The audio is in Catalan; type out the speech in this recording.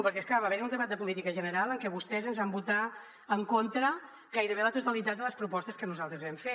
perquè és clar va haver hi un debat de política general en què vostès ens van votar en contra gairebé la totalitat de les propostes que nosaltres vam fer